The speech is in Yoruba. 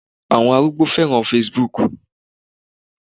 Àwọn arúgbó féràn Facebook.